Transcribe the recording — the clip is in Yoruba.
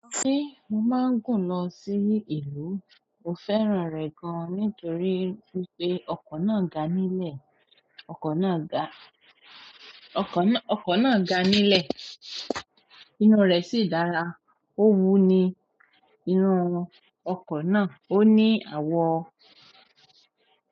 Ṣé mo máa ń gùn lọ sí ìlú? Mo fẹ́ràn rẹ̀ gan-an nítorí wípé ọkọ̀ náà ga nílẹ̀, ọkọ̀ náà ga, ọkọ̀ náà ga nílẹ̀, inú rẹ̀ sì dára. Ó wú ni inú ọkọ̀ náà, ó ní àwo.